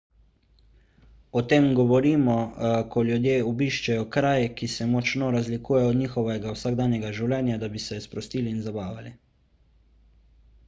o tem govorimo ko ljudje obiščejo kraj ki se močno razlikuje od njihovega vsakdanjega življenja da bi se sprostili in zabavali